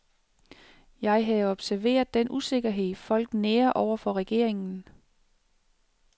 Jeg havde observeret den usikkerhed, folk nærer over for regeringen.